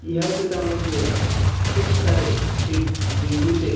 ह्या चित्रामध्ये खुप सारे एक झेंडू चे--